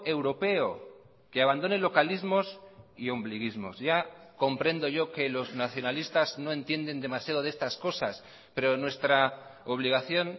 europeo que abandone localismos y ombliguismos ya comprendo yo que los nacionalistas no entienden demasiado de estas cosas pero nuestra obligación